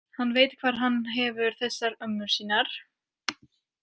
Hann veit hvar hann hefur þessar ömmur sínar.